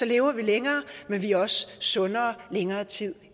lever vi længere men vi er også sundere i længere tid